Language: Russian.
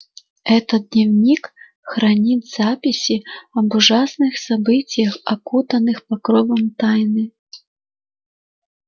этот дневник хранит записи об ужасных событиях окутанных покровом тайны